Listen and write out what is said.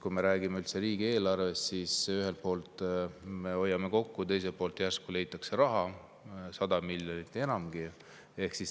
Kui me räägime üldse riigieelarvest, siis ühelt poolt me hoiame kokku, teiselt poolt järsku leitakse 100 miljonit ja enamgi.